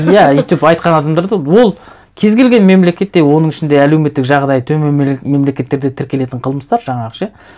иә өйтіп айтқан адамдарды ол кез келген мемлекетте оның ішінде әлеуметтік жағдайы төмен мемлекеттерде тіркелетін қылмыстар жаңағы ше